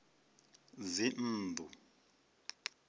dzinnḓu